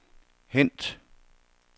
hent